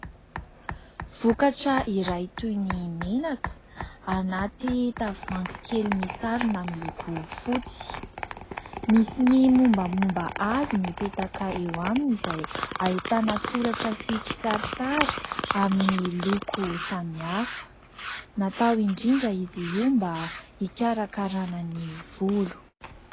Vokatra iray toy ny menaka : anaty tavoahangy kely misarona amin'ny loko fotsy, misy ny mombamomba azy nipetaka eo aminy izay ahitana soratra sy kisarisary amin'ny loko samihafa. Natao indrindra izy io mba hikarakarana ny volo.